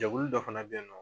Jɛkulu dɔ fana bɛ ye nɔ